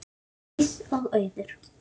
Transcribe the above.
Herdís og Auður.